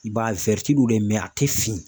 I b'a ye de dɛ a tɛ fin.